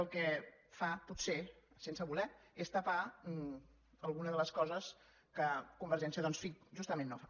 el que fa potser sense voler és tapar alguna de les coses que convergència doncs en fi justament no fa